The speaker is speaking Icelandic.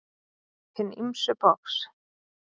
Hin ýmsu box